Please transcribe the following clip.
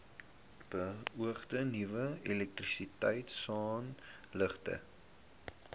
beoogde nuwe elektrisiteitsaanlegte